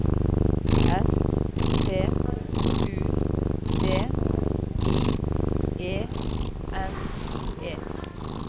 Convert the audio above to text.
S T U D I E N E